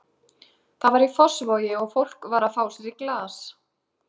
Það var í Fossvogi og fólk var að fá sér í glas.